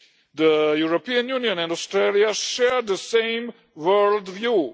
The European Union and Australia share the same world view.